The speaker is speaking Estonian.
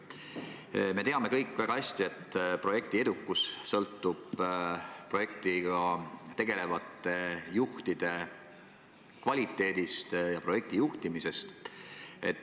Me kõik teame väga hästi, et projekti edukus sõltub projektiga tegelevate juhtide kvaliteedist ja projekti juhtimisest.